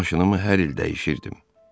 Maşınımı hər il dəyişirdim.